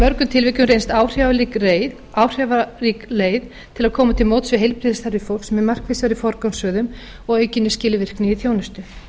mörgum tilvikum reynst áhrifarík leið til að koma til móts við heilbrigðisþarfir fólks með markvissari forgangsröðun og aukinni skilvirkni í þjónustu